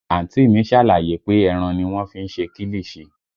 Àǹtí mi ṣàlàyé pé ẹran ni wọ́n fi ń ṣe kilichi